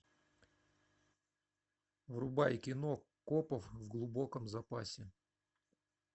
врубай кино копов в глубоком запасе